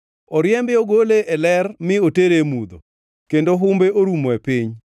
Oriembe ogole e ler mi otere e mudho, kendo humbe orumo e piny.